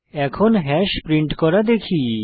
এখন hash print করা দেখি